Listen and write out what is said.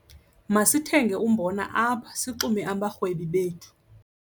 Masithenge umbona apha sixume abarhwebi bethu.